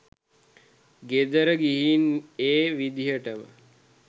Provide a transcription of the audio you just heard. ගෙදර ගිහින් ඒ විදිහටම